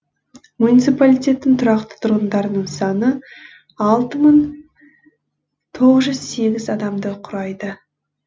муниципалитеттің тұрақты тұрғындарының саны алты мың тоғыз жүз сегіз адамды құрайды